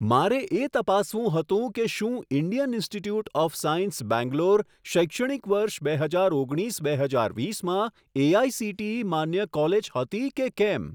મારે એ તપાસવું હતું કે શું Indian Institute of Science Bangalore શૈક્ષણિક વર્ષ બે હજાર ઓગણીસ બે હજાર વીસમાં એઆઇસીટીઈ માન્ય કોલેજ હતી કે કેમ!